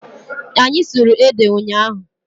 Anyị sụrụ ede ụnyaahụ.